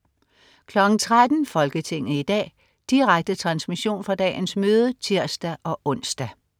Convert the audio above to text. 13.00 Folketinget i dag. Direkte transmission fra dagens møde (tirs-ons)